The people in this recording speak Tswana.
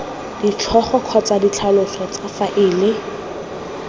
ditlhogo kgotsa ditlhaloso tsa faele